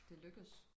Det lykkes